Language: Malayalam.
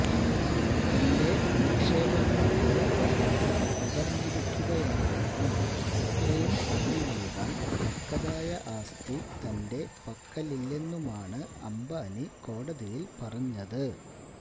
തന്റെ നിക്ഷേപങ്ങളുടെ മൂല്യം തകര്ന്നിരിക്കുകയാണെന്നും ഇത്രയും പണം നല്കാന് തക്കതായ ആസ്തി തന്റെ പക്കലില്ലെന്നുമാണ് അംബാനി കോടതിയില് പറഞ്ഞത്